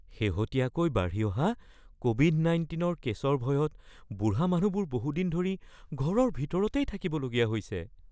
শেহতীয়াকৈ বাঢ়ি অহা ক’ভিড-১৯-ৰ কেছৰ ভয়ত বুঢ়া মানুহবোৰ বহুদিন ধৰি ঘৰৰ ভিতৰতেই থাকিবলগীয়া হৈছে।